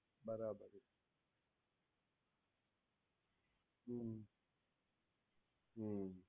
બરાબર છે હમ્મ હમ્મ